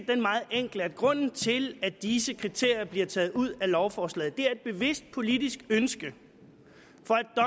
den meget enkle at grunden til at disse kriterier er blevet taget ud af lovforslaget er et bevidst politisk ønske